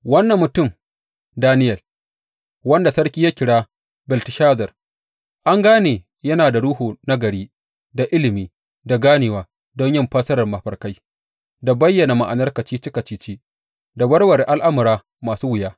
Wannan mutum Daniyel, wanda sarki ya kira Belteshazar, an gane yana da ruhu nagari, da ilimi, da ganewa don yin fassarar mafarkai, da bayyana ma’anar kacici kacici, da warware al’amura masu wuya.